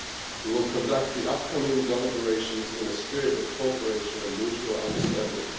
We will conduct the upcoming deliberations in a spirit of cooperation and mutual understanding.